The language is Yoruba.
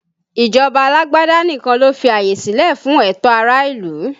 Ìjọba alágbádá nìkan ló fi àyè silẹ fún ẹtọ ará ìlú